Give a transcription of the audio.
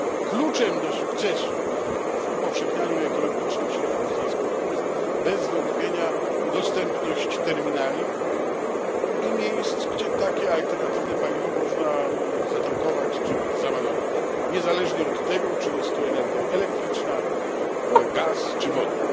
Kluczem do sukcesu w upowszechnianiu ekologicznych środków transportu jest bez wątpienia dostępność terminali i miejsc, gdzie takie alternatywne paliwo można zatankować, czy załadować, niezależnie od tego, czy jest to energia elektryczna, gaz, czy wodór.